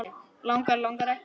Langar, langar ekki.